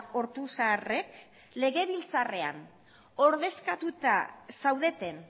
ortuzarrek legebiltzarrean ordezkatuta zaudeten